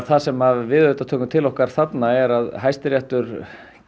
það sem við auðvitað tökum til okkar þarna er að Hæstiréttur